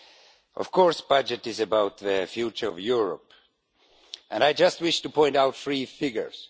Of course, the budget is about the future of Europe and I just wish to point out three figures.